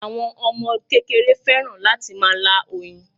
Àwọn Ọmọ kékeré fẹ́ràn láti máa lá oyin